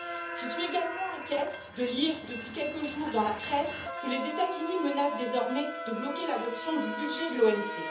Je suis également inquiète de lire, depuis quelques jours dans la presse, que les États Unis menacent désormais de bloquer l'adoption du budget de l'OMC.